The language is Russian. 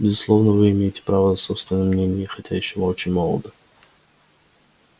безусловно вы имеете право на собственное мнение хотя ещё очень молоды